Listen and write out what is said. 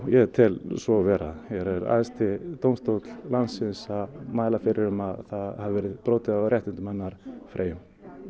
ég tel svo vera hér er æðsti dómstóll landsins að mæla fyrir um það að það hafi verið brotið á réttindum Freyju